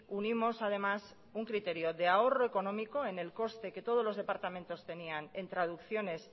unimos además un criterio de ahorro económico en el coste que todos los departamentos tenían en traducciones